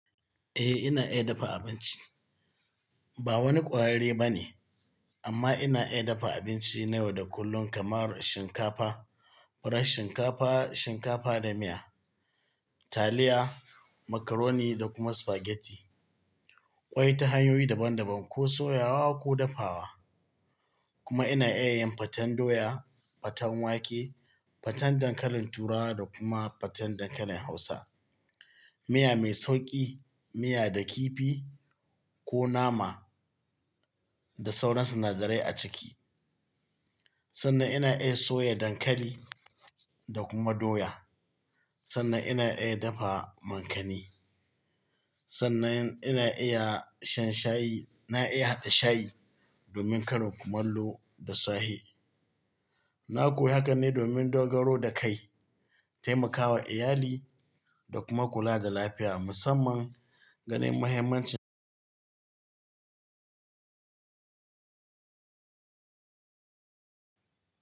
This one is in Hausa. Eh, ina iya dafa abinci. Ba wani ƙwararre ba ne amma ina iya dafa abinci na yau da kullum kamar shinkafa, farar shinkafa, shinkafa da miya, taliya, macaroni da kuma spaghetti. Ƙwai ta hanyoyi daban daban ko soyawa ko dafawa. Kuma ina iya yin faten doya, faten wake, faten dankalin turawa da kuma faten dankalin hausa. Miya mai sauƙi, miya da kifi ko nama da sauran sinadarai a ciki. Sannan ina iya soya dankali da kuma doya. Sannan ina iya dafa makani. Sannan ina iya shan shayi, ina iya haɗa shayi domin karin kumallo da sahe. Na koyi hakan ne domin dogaro da kai, taimakawa iyali da kuma kula da lafiya musamman ga nih mahimmancin.